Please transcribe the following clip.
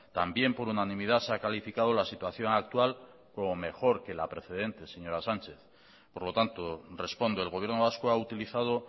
también por unanimidad se ha calificado la situación actual como mejor que la precedente señora sánchez por lo tanto respondo el gobierno vasco ha utilizado